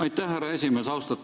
Aitäh, härra esimees!